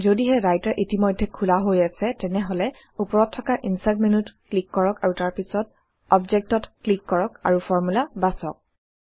যদিহে ৰাইটাৰ ইতিমধ্যে খোলা হৈ আছে তেনেহলে উপৰত থকা ইনচাৰ্ট মেন্যুত ক্লিক কৰক আৰু তাৰ পাছত Object ত ক্লিক কৰক আৰু ফৰ্মুলা বাছক